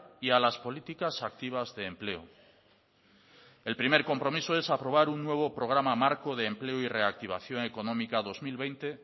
y a las políticas activas de empleo el primer compromiso es aprobar un nuevo programa marco de empleo y reactivación económica dos mil veinte